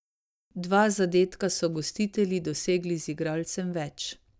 Dva zadetka so gostitelji dosegli z igralcem več.